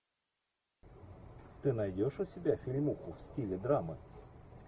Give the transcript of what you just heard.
ты найдешь у себя фильмуху в стиле драмы